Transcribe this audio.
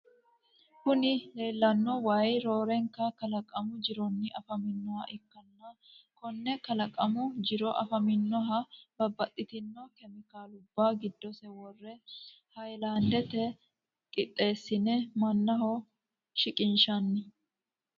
Kuni lelano waayi rorenika kallaqamu jironni afamanoha ikana kone kallaqqamu jironni afaminoha babtitino cemikaluba gidosi worre hayilandete qitesine mannaho siqqinshanite.